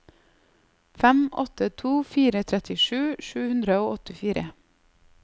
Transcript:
fem åtte to fire trettisju sju hundre og åttifire